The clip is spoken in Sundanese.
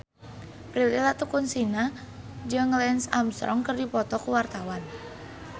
Prilly Latuconsina jeung Lance Armstrong keur dipoto ku wartawan